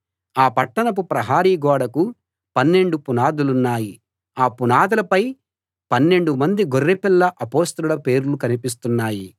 ఆ పట్టణపు ప్రహరీ గోడకు పన్నెండు పునాదులున్నాయి ఆ పునాదులపై పన్నెండు మంది గొర్రెపిల్ల అపొస్తలుల పేర్లు కనిపిస్తున్నాయి